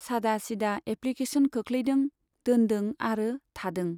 सादासिदा application खोख्लैदों , दोनदों आरो थादों।